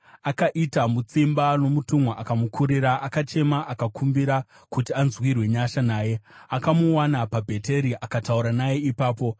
Akaita mutsimba nomutumwa akamukurira; akachema akakumbira kuti anzwirwe nyasha naye. Akamuwana paBheteri akataura naye ipapo,